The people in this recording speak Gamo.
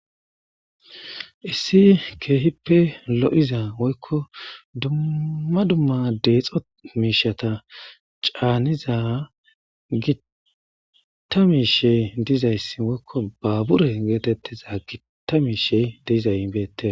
Issi keehippe lo7iza woykko dumma dumma deexo miishata caaniza gitta miishe dizayssi woykko baabure geetettiza gitta miishey diizay hibeette